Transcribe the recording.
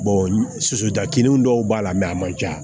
sosotakinnu dɔw b'a la a man ca